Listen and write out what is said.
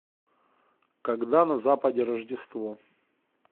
когда на западе рождество